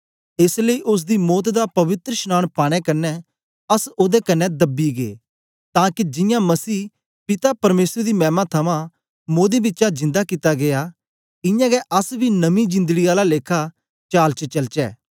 एस लेई ओसदी मौत दा पवित्रशनांन पाने कन्ने अस ओदे कन्ने दब्बे गै तां के जियां मसीह पिता परमेसर दी मैमा थमां मोदें बिचा जिन्दा कित्ता गीया इयां गै अस बी नमीं जिंदड़ी आला लेखा चाल च चलचे